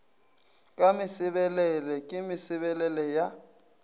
ka mesebelele ke mesebelele ya